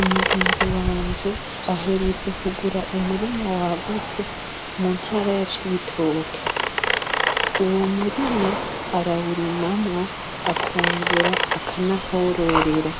Umugenzi wanje aherutse kugura umurima wagutse muntara ya Cibitoke. Uwo murima arawurimamwo akongera akanahororera.